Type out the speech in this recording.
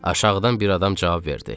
Aşağıdan bir adam cavab verdi.